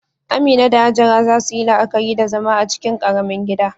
Amina da Hajara za su yi la'akari da zama a cikin ƙaramin gida.